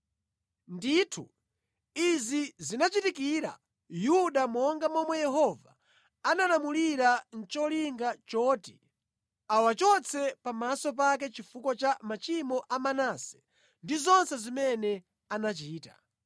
Ndithu, izi zinachitikira Yuda monga momwe Yehova analamulira nʼcholinga choti awachotse pamaso pake chifukwa cha machimo a Manase ndi zonse zimene anachita,